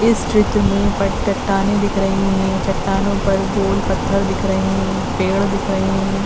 इस चित्र में ऊपर चट्टानें दिख रही हैं। चट्टानों पर धूल पत्थर दिख रहे हैं। पेड़ दिख रहे हैं।